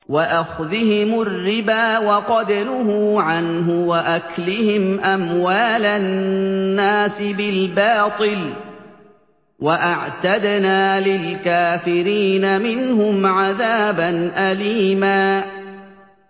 وَأَخْذِهِمُ الرِّبَا وَقَدْ نُهُوا عَنْهُ وَأَكْلِهِمْ أَمْوَالَ النَّاسِ بِالْبَاطِلِ ۚ وَأَعْتَدْنَا لِلْكَافِرِينَ مِنْهُمْ عَذَابًا أَلِيمًا